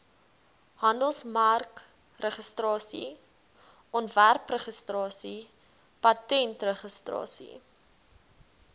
handelsmerkregistrasie ontwerpregistrasie patentregistrasie